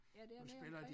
Ja dernede omkring